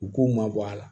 U k'u ma bɔ a la